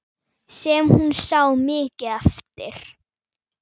Sem hún sá mikið eftir.